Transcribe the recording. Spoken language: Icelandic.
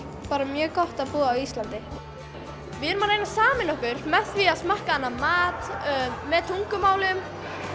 bara mjög gott að búa á Íslandi við erum að reyna að sameina okkur með því að smakka annan mat með tungumálum